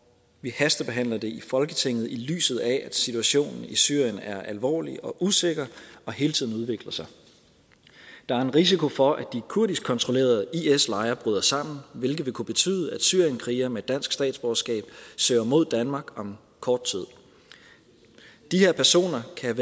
vi hastebehandler det i folketinget i lyset af at situationen i syrien er alvorlig og usikker og hele tiden udvikler sig der er en risiko for at de kurdiskkontrollerede is lejre bryder sammen hvilket vil kunne betyde at syrienskrigere med dansk statsborgerskab søger mod danmark om kort tid de her personer kan